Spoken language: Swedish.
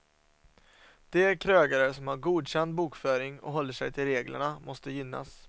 De krögare som har godkänd bokföring och håller sig till reglerna måste gynnas.